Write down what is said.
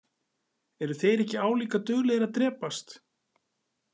Eru þeir ekki álíka duglegir að drepast?